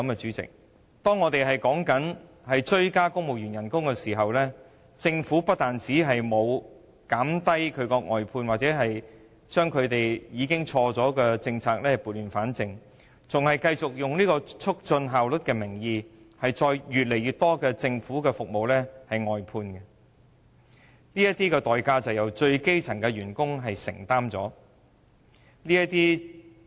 主席，不但如此，我們增加公務員薪酬的同時，政府不但沒有減少外判，把錯誤的政策撥亂反正，還以"促進效率"為名，繼續增加外判服務。這個代價由最基層的員工承擔。